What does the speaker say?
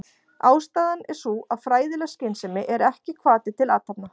Ástæðan er sú að fræðileg skynsemi er ekki hvati til athafna.